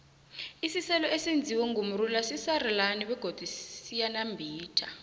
isiselo esenziwe ngomrula sisarilana begodu siyanambitha